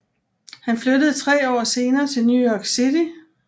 Han flyttede tre år senere til New York City